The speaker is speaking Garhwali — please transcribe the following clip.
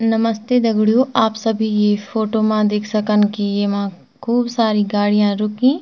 नमस्ते दगडियों आप सभी यी फोटो मा देख सकन की येमा खूब सारी गाड़ियां रुकीं।